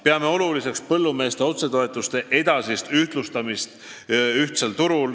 Peame oluliseks põllumeeste otsetoetuste edasist ühtlustamist ühtsel turul.